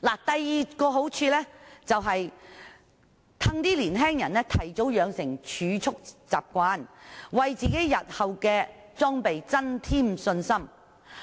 第二個好處是令年青人提早養成儲蓄習慣，為日後裝備增添信心。